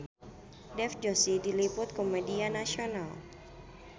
Dev Joshi diliput ku media nasional